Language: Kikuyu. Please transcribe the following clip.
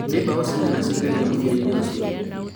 nĩ mbao cĩigana cia ingiririo mũbira-inĩ ũcio?